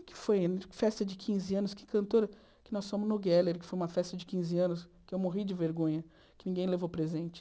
O que foi, festa de quinze anos, que cantora, que nós fomos no Geller, que foi uma festa de quinze anos, que eu morri de vergonha, que ninguém levou presente.